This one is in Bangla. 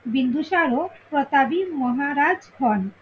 বিন্দুসারও প্রতাবি মহারাজ হন।